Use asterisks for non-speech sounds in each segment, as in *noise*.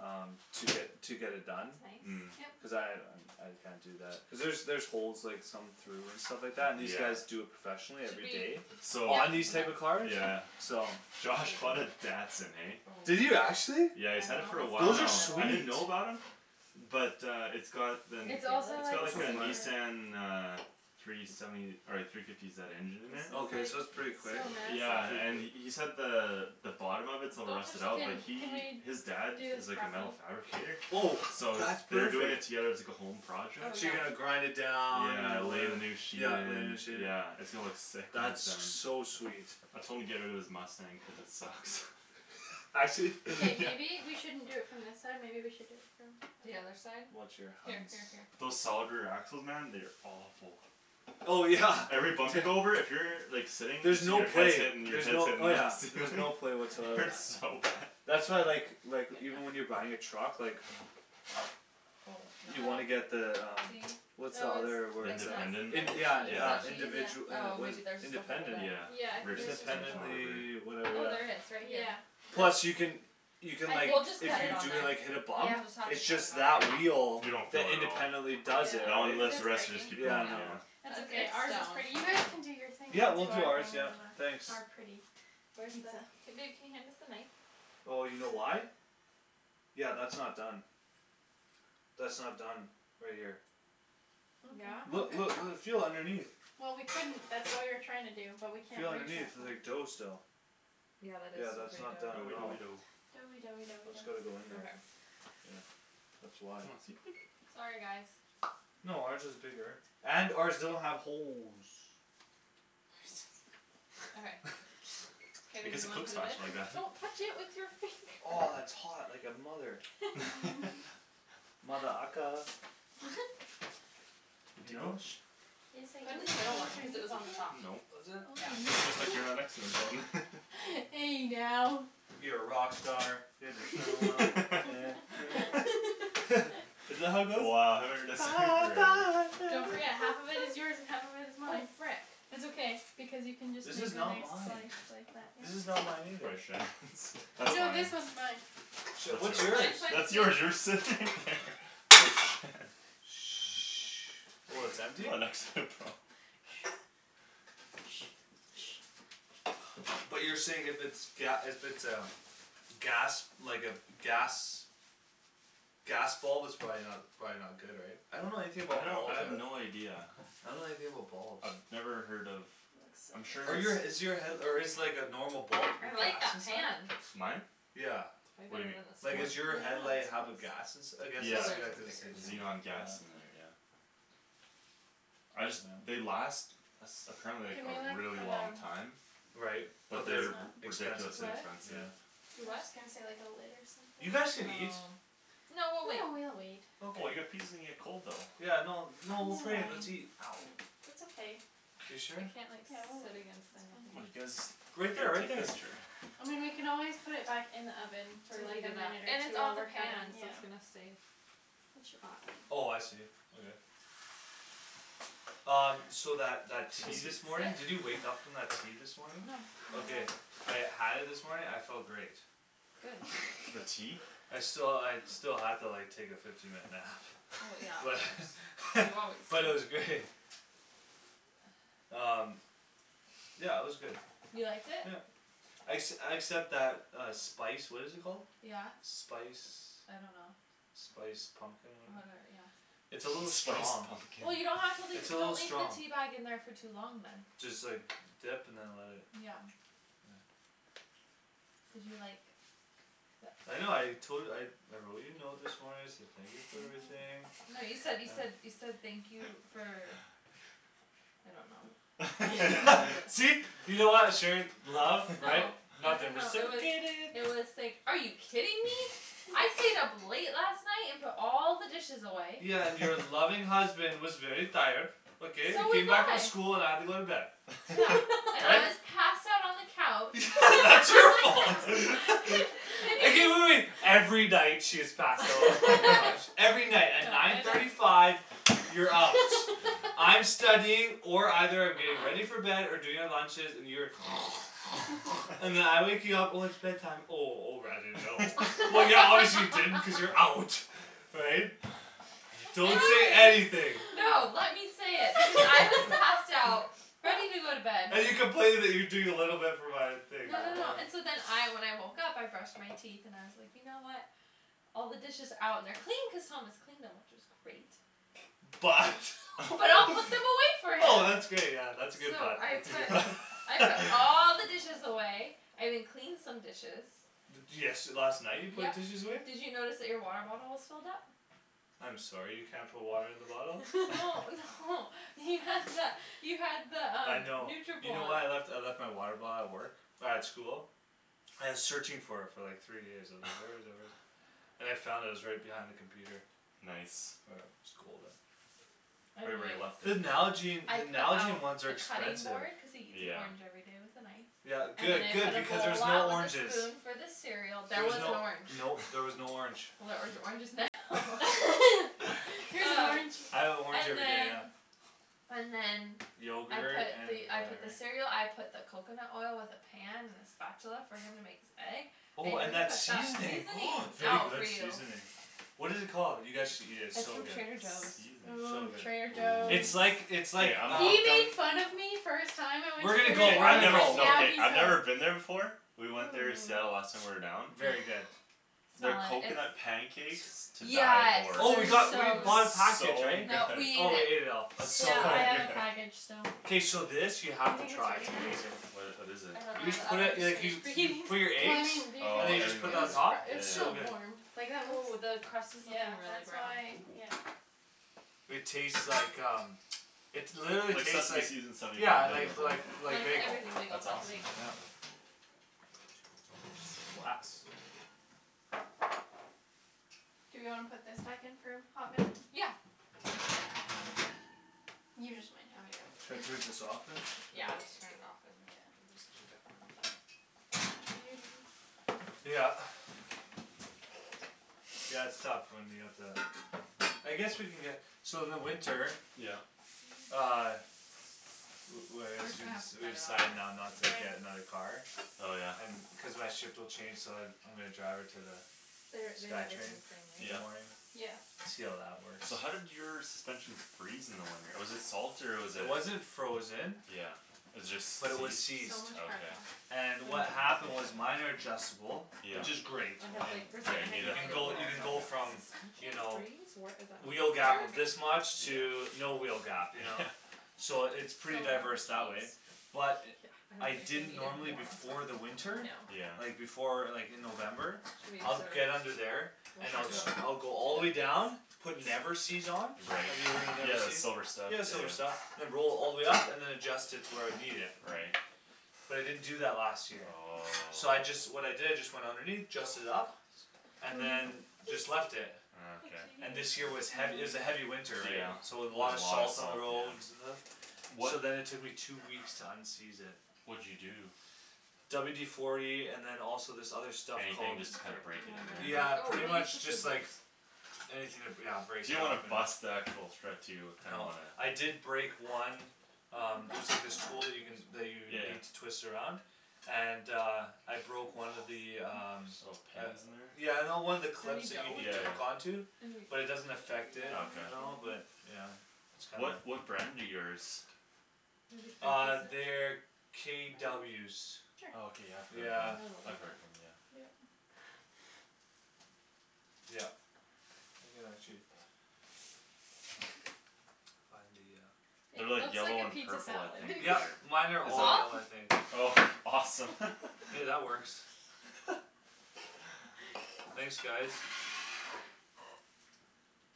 Um, to get, to get it done That's Mm nice Cuz Yep I, um I can't do that cuz there's there's holes like some through and stuff like that, and these Yeah guys do it professionally Should every we day So On these type Yep of Okay yeah cars, yeah so Josh bought a Datsun, eh Oh, I Did don't you actually? Yeah he's had it know for a while if Those are now, it's done I in the middle didn't sweet know about him But uh it's got the, Can you It's feel also it's like got like super a it? Nissan *inaudible* uh Three seventy, or like three fifty zed engine in This there is Okay like, so that's pretty it's so quick, Yeah and he massive *inaudible* said the the bottom of it's a little Don't touch rusted the out, but Can, tin can we he, do his dad this is like a metal properly fabricator Oh So that's they're doing it perfect together as like a home Oh project So yeah you're gonna grind it down, you Yeah, know lay whatever, the new sheet yeah lay a in, new sheet yeah it's gonna look sick when he's That's done so sweet I told him to get out of his Mustang cuz it sucks Actually? K Yeah maybe we shouldn't do it from this side maybe we should do it The from other side? Watch your Here hands here here Those solid rear axles man, they are awful Oh yeah, Every bump t- you go over, if you're like sitting, then There's no your head's play, hitting, your there's head's no, hitting oh the yeah there's ceiling no play It whatsoever on hurts that so bad That's why I like like, even when you're buying a truck like Oh no You wanna Oh get the um See? What's the Oh other it's The word It's it's no like independent? it's, in- not that's yeah in- Is the uh Yeah that yeah cheese? cheese individu- eh, Oh what is maybe it, there's just a hole independent, then Yeah Yeah I Rift think theirs suspension was or independently, just a yeah whatever hole. Oh whatever there is, right here Yeah, that's Plus you can You can like, I We'll just if cut think it you on do it there cuz like hit a it's We'll bump just have to It's cut it just on that wheel You there don't that feel it at all independently does it, That right, one Cuz lifts, it's the rest breaking just keep going yeah no yeah Yeah It's It's okay, it's ours is stone pretty, you guys can do your thing Yeah now we'll we'll do do our ours *inaudible* yeah, our pretty thanks Where the, pizza k babe can you hand us the knife? Oh you know why? Yeah that's not done That's not done, right here Yeah? Look Okay Okay look l- feel underneath Well we couldn't, that's what we were trying to do, but we can't Feel underneath, there's like dough *inaudible* still Yeah that is Yeah that's still not done pretty Doughy at all doughy doughy dough Doughy doughy doughy That's gotta go dough in there, Okay yeah That's why Sorry guys No ours is bigger, and ours doesn't have holes Okay *laughs* K I babe guess you it wanna cooks put it in? faster like that Don't touch it with your finger Aw, it's hot like a mother- Mm *laughs* *laughs* Mother ucka *laughs* Good You to go? know? Yes Put it in the middle one, cuz it was on the top I No *inaudible* Was Yeah it? Just like you're not *inaudible* *inaudible* Hey now You're a rock star, get the show on, get *laughs* paid *laughs* *laughs* *laughs* Isn't that how it goes? Wow haven't heard that song in forever Don't forget, half of it is yours and half of *noise* it is Oh mine frick It's okay, because you can just make This the is next not slice mine This is not mine either like that, yeah That's No fine this one's mine Shit, That's what's yours, yours? Mine's by the that's sink yours you were sitting there *noise* Oh it's You empty? were next to it Paul But you're saying if it's ga- if it's a gas, like a, gas Gas bulb it's probably not, it's probably not good right? I don't know anything I about don't I bulbs, I have don't no idea I don't know anything about bulbs I've never heard of I'm Are sure you a is it's your head- or is like a normal bulb I like gas that inside? pan Mine? Yeah Way What do better you than Like mean, what? is your Yeah the *inaudible* headlight it's have a gas nice ins- , I guess it's Yeah, Probably cuz yeah it's cuz it thicker says xenon like, too yeah gas in there yeah I just, they last Apparently like Can we a like, really put long um time Right, Put but But this they're they're expensive s- ridiculously on What? expensive yeah I was Do what? just gonna say like a lid or something You guys can eat Oh No No we'll we'll wait wait Oh well Okay your pizza's gonna get cold though Yeah no no Mm we'll put it in, I let's eat mean *inaudible* That's okay You I sure? can't like Yeah sit we'll against wait, anything Come it's you fine guys, Right there here right take there this chair I mean we can always put it back in the oven, for To like heat a it up, minute or and it's on the two pan, *inaudible* so yeah it's gonna stay It should hot be fine. Oh I see, okay Um, so that that I tea guess he's this *noise* morning, did you Sit? wake up from that tea this morning? No Okay *inaudible* I had it this morning, I felt great good *laughs* the that's tea? I sti- I still had to like take a fifteen minute nap well but *laughs* yeah *laughs* you always but sleep it was great *noise* um yeah it was good you liked it? yeah exc- except that uh spice what is it called? yeah spice I don't know spice pumpkin or whatever yeah it's a little spice strong pumpkin well you don't have to leave it's a don't little leave the strong teabag in there for too long then just like dip and then let it yeah yeah did you like th- I know I tol- I I wrote you a note this morning I said thank you *noise* for everything no you *laughs* said you said *noise* you said thank you for *laughs* I don't know *laughs* *laughs* see *inaudible* laugh right no *laughs* I don't *inaudible* know it was I was like are you kidding me *laughs* I stayed up late last night and put all the dishes away yeah and your *laughs* loving husband was very tired okay I so was came back from I school and I had to go to bed yeah *laughs* *laughs* and I but was passed out on the couch *laughs* that's your fault *laughs* *laughs* *laughs* okay wait wait wait every night she is passed out in the couch *laughs* every night at yeah nine I know thirty five you're out I'm studying or either I'm getting ready aw for bed or doing the lunches and you're *noise* *noise* *laughs* and then *laughs* I wake you up when it's bed time oh oh r I didn't know *laughs* well yeah obviously you didn't because you're out *laughs* right? *noise* don't say anything *inaudible* no let me say it because I was passed out ready *laughs* to go to bed and you complaining you doing no no no *noise* and *inaudible* so then I when I woke up I brushed my teeth and I was like you know what all the dishes out and they're clean cause Thomas cleaned them which was great but but I'll put *laughs* them away for *laughs* oh him that's great yeah that's a good so but I that's a good put but I put *laughs* all *laughs* the dishes away I even cleaned some dishes de- desh last night you put yup dishes away? did you notice that your water bottle was filled up? I'm sorry you can't put water in the bottle no *laughs* *laughs* *laughs* no you had the you had the I um know you know what I Nutribullet left I left my water bottle at work at school I was searching for it for like three days I was like where is it where is it *noise* and I found it it was right behind the computer nice *inaudible* right where anyway you left it the Nalgene I the put Nalgene out ones are the cutting expensive board because he eats an yeah orange everyday with a knife yeah and then good I good put a because there's bowl no out with a oranges spoon for the cereal there there was was an no orange no there was no orange well *laughs* there's oranges now *laughs* *laughs* *laughs* here's an oh orange I have an orange and everyday yeah then and then I yogurt put the and I put the whatever cereal I put the coconut oil with the pan and the spatula for him to make his egg I oh and even that put that seasoning oh seasonings very out good for you seasoning what it called you guys should eat it it's it's so from good Trader Joe's seasoning so ooo good Trader it's like Joe's ooh it's okay like I'm um hooked on we're gonna go Okay we're I gonna go never we're no I've never been there before we went there in Seattle last hum time we were down very good oh their smell it it's coconut pancakes to die yeah for oh we it's got we *noise* bought a package so *inaudible* *laughs* good no we oh ate we ate it it all it's yeah so so I have good good a *laughs* package so k so this you do you have to think it's try its ready amazing now? wha- what is I it don't know you just the put other it like you you put your *inaudible* well eggs I mean do you and then think it you oh was just put that super on *inaudible* top it was it's yeah so still good warm yeah like that oh looks the crust is like yeah really that's brown why ooh yeah it taste like um it literally like tastes seaseme like seeds in *inaudible* bagel yeah yeah like like like like the bagel everything bagel that's without the awesome bagel yeah glass do we wanna put think back in for a hot minute? yeah should I turn *inaudible* *noise* just this off than yeah I'm just turn it off and just keep it yeah warm in there what are you doing? *noise* yeah yeah okay yeah it's tough when you have to I guess we can get so in the winter yeah uh *noise* li- li- like we're just excuse gonna me have to we we cut all in decided now there not to get when another car oh yeah cuz my shift will change so I I'm gonna drive her to the their they'd sky everything train the same way in the yeah morning right yeah see how that works so how did your suspension freeze in the winter was it salt or was it it wasn't frozen yeah was it but it was just seized seized okay and I know what *inaudible* happened was seriously minor adjustable yeah which is great I I had like mean firstly yeah I you had need you no it can for idea the go what Paul winter you was can talking go *inaudible* about from you suspension know freeze wheel gap of *inaudible* this much to yeah no wheel gap you know yeah *laughs* so it's pretty so a diverse lot that of way cheese but yeah I I don't think they didn't needed normally more on before top the winter No yeah like before like in November I'd get under *inaudible* there and check I'll it sc- out I'll go all the way down *inaudible* put never-seez on right have you ever heard of yeah the never-seez? silver stuff yeah yeah silver yeah stuff *inaudible* all the way up and than adjust it to where I need it right but I didn't do that last year oh so I just what I did is just went underneath adjust it up what and is what it than is just it? left it just ah a okay and little this year cheese, was hea- it oh was a heavy yeah winter yeah so there was a lot of a lot of salt on the salt roads yeah and stuff so wha- then it took me two weeks to unseize it what'd you do? WD forty and than also this other stuff anything called just to kinda break it in *inaudible* there yeah oh pretty we'll use the much just like scissors anything to br- yeah break you it don't up wanna and bust the actual thread too you kinda no wanna I did break one um there's like this tool you can that you yeah need yeah to twist around and uh I balls broke my one of the um little gosh pins in uh there yeah no one of the is there clips any that you dough need with yeah to that hook yeah on *laughs* to any but it doesn't affect it okay at all but yeah it's kinda what what brand do yours maybe three uh they're pieces for them KWs okay I've cuz heard of yeah I them know they'll I've eat it heard of them yeah yup you can actually find the uh it they're like looks like yellow a and pizza purple I salad *laughs* think yup or mine are is all that off *inaudible* I think oh awesome *laughs* hey that works *laughs* thanks guys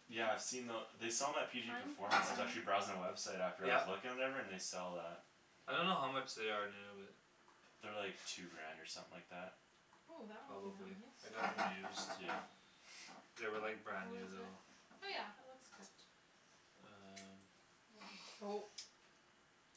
yeah I've seen the they sell them at PG kind performance I was actually *inaudible* browsing the website after I was yup looking and whatever and they sell that I don't know how much they are new but they're like two grant or something like that ooh that one came out probably nice I got them used yeah they were like brand how new is it? though oh yeah it looks good um oh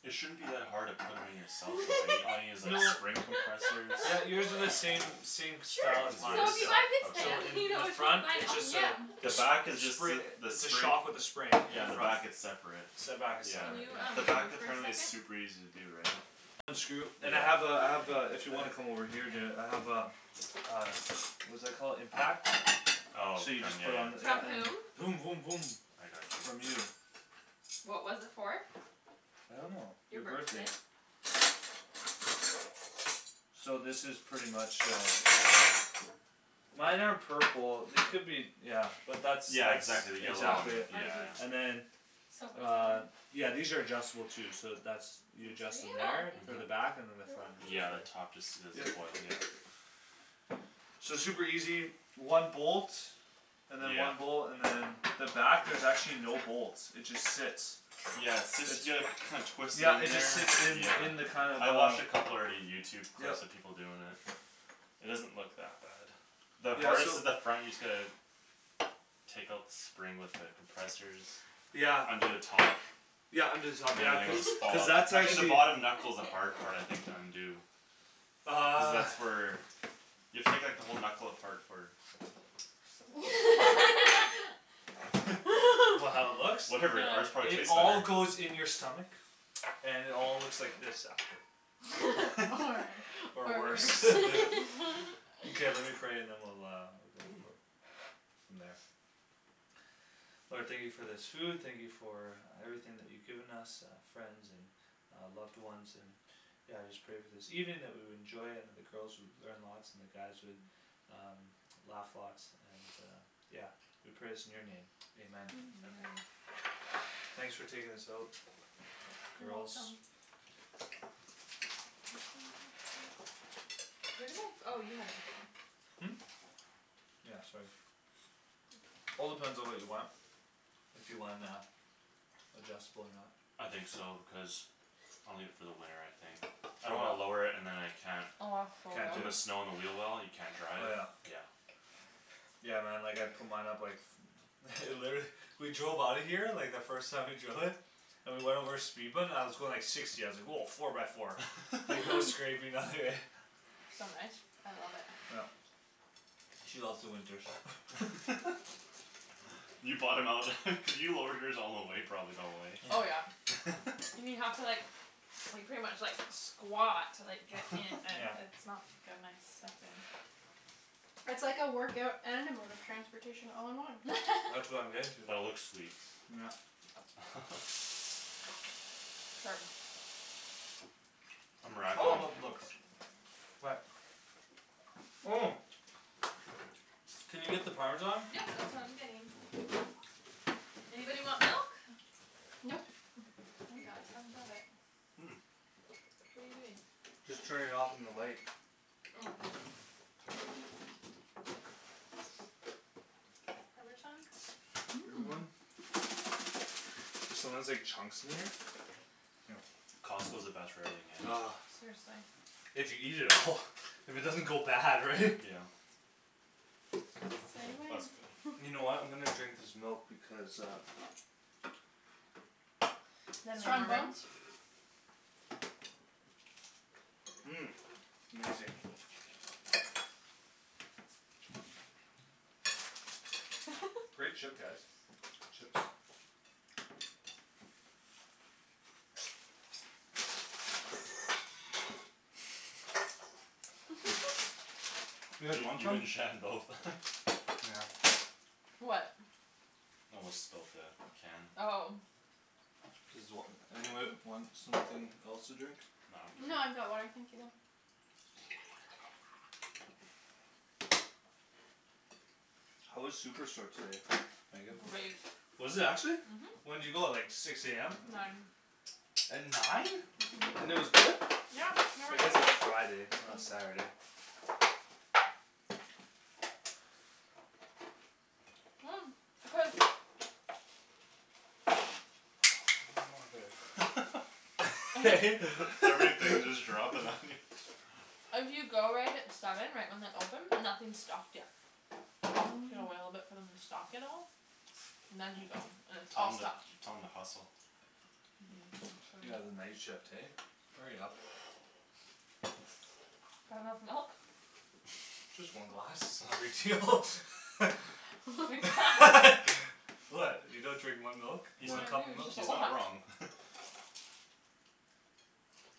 it shouldn't be that hard to put em in yourself though right all you need is no like spring compressors yeah you would do the same *laughs* *laughs* same *inaudible* as sure as so mine yours if you buy this still so pan okay in you in know the which one to front buy it now. just uh yeah the jus- back is jus- just spring a the its a spring shock with a spring in yeah, the front back it's separate the back is yeah can separate you um the yeah back move for a apparently is second super easy to do right unscrew and I yeah have uh I have uh if you wanna *noise* come over here and do it I have a uh what's that called impact oh so you from just yeah put on the yeah from yeah um whom voom voom voom I got from you you what was it for? I don't know your your birthday birthday so this is pretty much uh mine are purple they could be yeah but that's yeah that's exactly the yellow oh one exactly it yeah ours is yeah and then on yeah these are adjustable too so that's you adjust them oh there for the thank uh-huh back and you than the front is yeah the just there top just does yep a coil yeah so it's super easy one bolt and than yeah one bolt and than the back there's actually no bolts it just sits yeah it sit it's yea- you kind twist it yeah in it just there sits in yeah in the kind of I watched a uh couple already Youtube yup clips of people doin' it it doesn't look that bad the yeah hardest so is the front you just gotta take out the spring with the compressors yeah under the top yeah under the top and than yeah everything cuz will just cuz follow that's actually the actually bottom knuckle's the hard part I think to undo cuz uh that's where you have to take like the whole knuckle apart for *laughs* *laughs* what how *laughs* it *laughs* looks? whatever ours no probably it tastes all better goes in your stomach and it all looks like this after or worse *laughs* *laughs* okay let me pray and then we'll go ooh for from there Lord thank you for this food thank you for everything that you given us uh friends and uh loved ones and yeah I just pray for this evening that we will enjoy and the girls would learn lots and the guys would *noise* um laugh lots and uh yeah we pray this in your name Amen amen thanks for taking this out girls where did my oh you have my phone hm yeah sorry all depends on what you want if you wan- uh adjustable or not I think so because I'll need it for the winter I think I throw don't wanna what lower it and than I can't can't do put the it *inaudible* snow on the wheel well and you can't drive oh yeah yeah yeah man like I'd put mine up like *noise* *laughs* literally *laughs* we drove outta here like the first time we drove it and we went over a speed bump and I was going like sixty I was like woah four by four like *laughs* no *laughs* scraping nothing right *laughs* so nice I love it yup she loves the winters *laughs* *laughs* you bought him out *laughs* cuz you lowered yours all the way probably eh oh yeah *noise* *laughs* and you have to like like pretty much like squat to like get in *laughs* and yeah it's not gonna I step in it's like a workout and a mode of transportation all in one that's what I'm getting to *laughs* but it looks sweet yeah *laughs* *inaudible* it's all about oh the *inaudible* looks what oh can you get the parmesan yep that's what I'm getting oh anybody want milk? nope we got tons of it hm what're you doing? just turning it off on the light oh parmesan mmm anyone? there's sometimes like chunks in there here Costco's the best for everything eh ah seriously if you eat it all if it doesn't go bad right *laughs* yeah say oh that's good when *noise* you know what I'm gonna drink this milk because uh then we have strong more room bones mmm amazing *laughs* great chip guys chips *laughs* *noise* *laughs* you guys you want you some? and Shan both *laughs* yeah what *inaudible* spilt the can oh does wh- anybody want something else to drink? no No I'm I've good got water thank you though how was Superstore today Meagan? great was it actually mhm when'd you go like six am nine at nine uh-huh and it was good? yeah I guess *inaudible* it's Friday it's not uh- uh Saturday *noise* cuz oh mother *laughs* *laughs* I *noise* hate that *laughs* everything just dropping on *laughs* you if you go right at seven right when they open nothing's stocked yet you gotta wait a little bit hm for them to stock it all and then you go and it's tell all them stocked tell them to hustle uh-huh I should yeah the night shift hey hurry up that enough milk just one glass *laughs* its not a big deal *laughs* *noise* *inaudible* *laughs* *laughs* what you don't drink one milk? he's No one not I do cup of its milk just a he's not lot wrong *laughs*